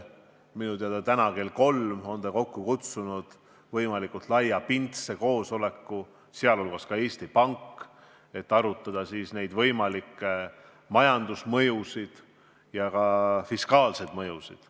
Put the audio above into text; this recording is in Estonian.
Minu teada täna kell 15 on ta kokku kutsunud võimalikult laiapindse koosoleku, kutsutud on ka Eesti Pank, et arutada võimalikke majanduslikke ja fiskaalseid mõjusid.